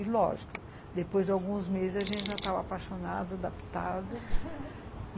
E lógico, depois de alguns meses, a gente já estava apaixonada, adaptada